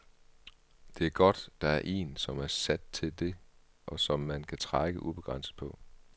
Det er godt, der er en, som er sat til det, og som man kan trække ubegrænset på.